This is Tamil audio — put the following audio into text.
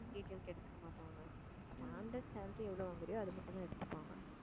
எடுத்துக்க மாட்டாங்க standard salary எவ்வளவு வாங்கறியோ அது மட்டும்தான் எடுத்துப்பாங்க